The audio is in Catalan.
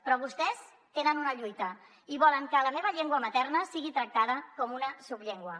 però vostès tenen una lluita i volen que la meva llengua materna sigui tractada com una subllengua